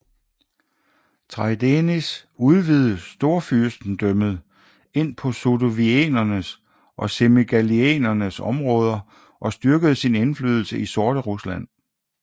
Traidenis udvidede Storfyrstendømmet ind på sudoviernes og semigaliernes områder og styrkede sin indflydelse i Sorterusland